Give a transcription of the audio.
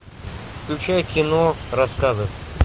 включай кино рассказы